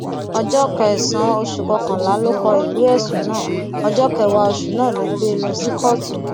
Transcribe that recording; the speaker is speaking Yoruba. ọjọ kẹsànán oṣù kọkànlá ló kó ìwé ẹsùn náà ọjọ kẹwàá oṣù náà ló gbé e lọ sí kóòtù